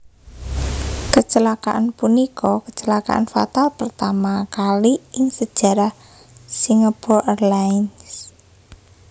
Kecelakaan punika kecelakaan fatal pertama kali ing sejarah Singapore Airlines